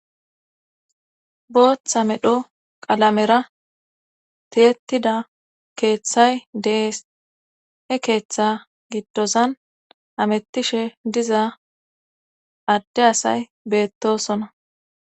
Booththa medho qalamera tiyetida keeththay dees he keeththa giddozan amettishe diza adde asay beettosona.